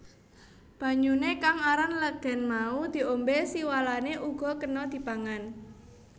Banyuné kang aran legèn mau diombé siwalané uga kéna dipangan